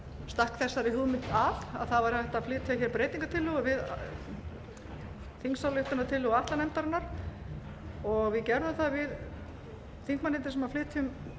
stakk þessari hugmynd að að hægt væri að flytja breytingartillögu við þingsályktunartillögu atlanefndarinnar og við gerðum það við þingmennirnir sem flytjum